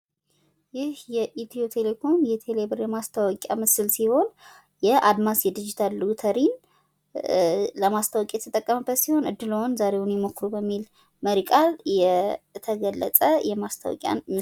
ይህ የኢትዮ ቴሌኮም የቴሌ ብር ማስታወቂያ ምስል ሲሆን የአድማስ የዲጂታል ሎተሪ ለማስታወቂያ የተጠቀመበት ሲሆን እድልዎን ዛሬውኑ ይሞክሩ በሚል መሪ ቃል የተገለጸ ማስታወቂያ።